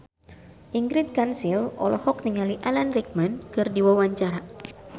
Ingrid Kansil olohok ningali Alan Rickman keur diwawancara